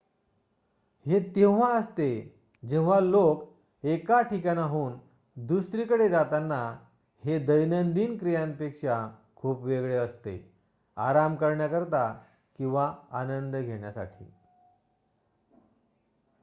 हे तेव्हा असते जेव्हा लोक एका ठिकाणाहून दुसरीकडे जातात हे दैनंदिन क्रियांपेक्षा खूप वेगळे असते आराम करण्याकरिता आणि आनंद घेण्यासाठी